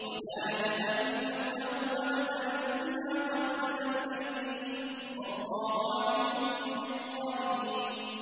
وَلَا يَتَمَنَّوْنَهُ أَبَدًا بِمَا قَدَّمَتْ أَيْدِيهِمْ ۚ وَاللَّهُ عَلِيمٌ بِالظَّالِمِينَ